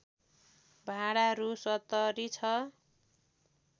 भाडा रु ७० छ